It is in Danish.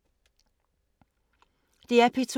DR P2